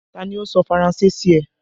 Ta ni ó sọ Faranse sí ẹ?